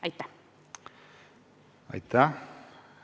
Aitäh!